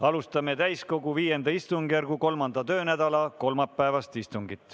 Alustame täiskogu V istungjärgu 3. töönädala kolmapäevast istungit.